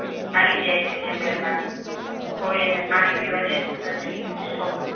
ખાલી જાય છે જંગલમાં કોઈ એને પાણી પીવા દેતું નથી તો